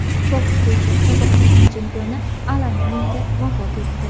Boks bo‘yicha sobiq Jahon chempioni Alan Minter vafot etdi.